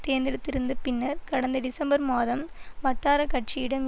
தேர்ந்தெடுத்திருந்த பின்னர் கடந்த டிசம்பர் மாதம் வட்டார கட்சியிடம்